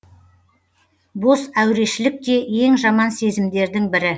бос әурешілік те ең жаман сезімдердің бірі